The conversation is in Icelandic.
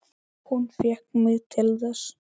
Hún fékk mig til þess!